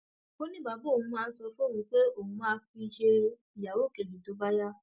ó ní bàbá òun máa ń sọ fóun pé òun máa fi í ṣe ìyàwó kejì tó bá yá